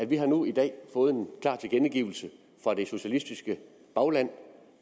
vi har nu i dag fået en klar tilkendegivelse fra det socialistiske bagland